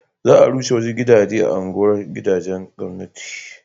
za a rushe wasu gidaje a unguwar gidajen gwamnati